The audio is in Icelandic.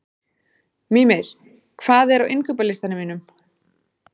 Mímir, hvað er á innkaupalistanum mínum?